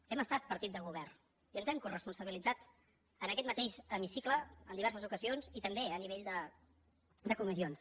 hem estat partit de govern i ens n’hem coresponsabilitzat en aquest mateix hemicicle en diverses ocasions i també a nivell de comissions